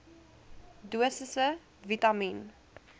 dosisse vitamien